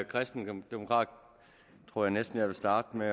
kristendemokrat tror jeg næsten jeg vil starte med